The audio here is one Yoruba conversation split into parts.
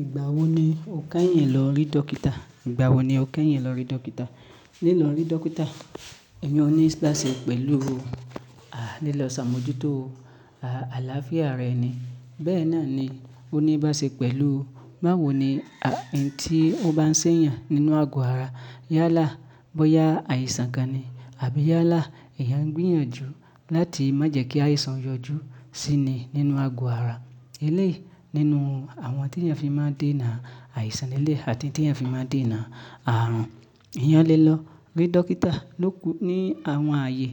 Ìgbà wo ni o kẹ́yìn lọ rí dókítà? Ìgbà wo ni o kẹ́yìn lọ rí dókítà? Lílọ rí dókítà, èmi o ní í bá ṣe pẹ̀lú, à, lílọ ṣàmójútó, à, àlàáfíà rẹ ni. Bẹ́ẹ̀ náà ni ó ní í bá ṣe pẹ̀lú, báwo ni, à, ohun tí ó bá ń ṣẹ̀ yàn nínú ago ara. Yálà bóyá àìsàn kan ni àbí yálà èèyàn ń gbìyànjú láti má jẹ́ kí àìsàn yọjú sí ni nínú ago ara. Elẹ̀yi nínú àwọn tí èèyàn fi máa ń déna àìsàn nílẹ̀ àti tí èèyàn fi máa ń déna ààrùn, eeyàn lé lọ rí dókítà ló kù ní àwọn ààyè.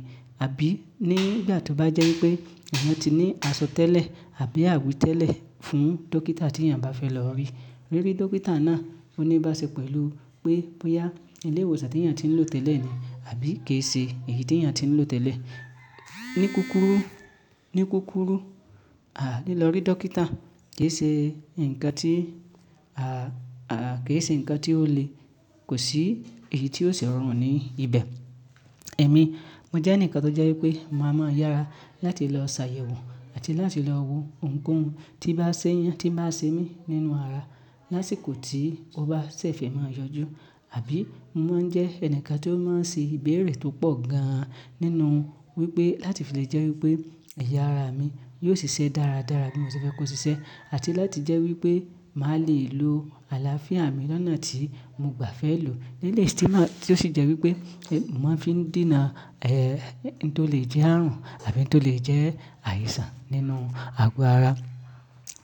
Àbí ní ìgbà tí ó bá jẹ́ wípé èèyàn ti ní àsọ̀ tẹ́lẹ̀ àbí àwí tẹ́lẹ̀ fún dókítà tí èèyàn bá fẹ́ lọ rí. Rírí dókítà náà ó ní í bá ṣe pẹ̀lú pé bóyá ilé iwòsàn tí èèyàn ti ń lò tẹ́lẹ̀ ni àbí kò ṣe èyí tí èèyàn ti ń lò tẹ́lẹ̀. Ní kúrúkùrú, ní kúrúkùrú, à, lílọ rí dókítà ki ṣe ǹkan tí, à, à, ki ṣe ǹkan tí ó le kò sí èyí tí ó sì rọrùn ní ibẹ̀. Ẹ̀mí mo jẹ́ ẹnìkan tó jẹ́ wípé màá mọ yàra láti lọ ṣàyẹ̀wò àti láti lọ wo ohunkóhun tí í bá ń ṣẹ̀ yàn, tí í bá ń ṣe mí nínú ara lásìkò tí ó bá ṣè fee máa yọjú. Àbí mo máa ń jẹ́ ẹnìkan tí ó máa ń ṣe ìbéèrè tó pọ̀ gan nínú wípé láti fi lè jẹ́ wípé ẹ̀yà ara mi yóò ṣiṣẹ́ dára dára bí mo ṣe fẹ́ kó ṣiṣẹ́ àti láti jẹ́ wípé màá le lo àlàáfíà mi lọ́nà tí mo gbà fẹ́ lò. Nílé tí máa, tí ó sì jẹ́ wípé èmi máa fi ń dènà, ẹ́, ohun tó lè jẹ́ ààrùn àbí ohun tó lè jẹ́ àìsàn nínú ago ara.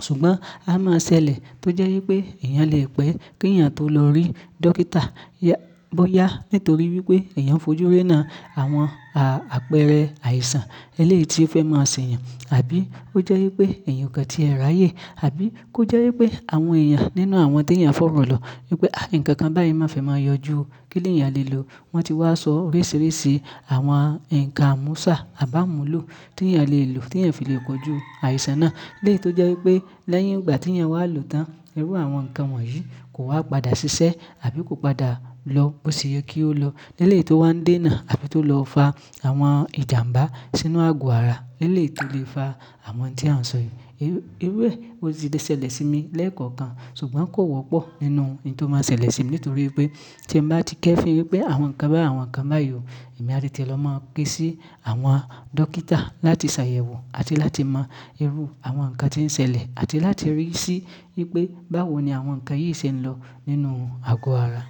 Ṣùgbọ́n a máa ṣẹlẹ̀ tó jẹ́ wípé èèyàn lè pẹ́ kí èèyàn tó lọ rí dókítà, ya, bóyá nítorí wípé èèyàn fojú ré'na àwọn, à, àpẹẹrẹ àìsàn eléyi ti ó fẹ́ máa ṣẹ̀'yàn àbí ó jẹ́ wípé ẹ̀eyàn o kàn tí ẹ ràyè àbí kó jẹ́ wípé àwọn èèyàn nínú àwọn tí èèyàn fọ́ro lọ wípé, "à, ǹkankan báyìí máa fẹ́ máa yọjú, kí ni èèyàn lè lò?" Wọ́n ti wá sọ oríṣiríṣi àwọn ǹkan amúṣà à bá mú lò tí èèyàn lè lò tí ẹ̀ fi lè kọjú àìsàn náà. Lẹ́yi tó jẹ́ wípé lẹ́yìn ìgbà tí èèyàn wá lò tán, irú àwọn ǹkan wọ̀nyí kò wá padà ṣiṣẹ́ àbí kò padà lọ bóṣe yẹ kí ó lọ. N'élèyi tó wá ń dènà àbí tó lọ fa àwọn ìjàmbá sínú ago ara. Eleyi to lè fa àwọn ohun tí a ń sọ yìí. Irú ẹ, ó ti lè ṣẹlẹ̀ sí mi lẹ́ẹ̀kọ̀kan ṣùgbọ́n kò wọ́pọ̀ nínú ohun tó máa ń ṣẹlẹ̀ sí mi nítorí pé tí èmi bá ti kẹ́fin wípé àwọn ǹkan bá, àwọn ǹkan báyi ọ, èmi á tètè lọ máa kè sí àwọn dókítà láti ṣàyẹ̀wò àti láti mọ irú àwọn ǹkan tí ń ṣẹlẹ̀ àti láti rí sí wípé báwo ni àwọn ǹkan yìí ṣe ń lọ nínú ago ara.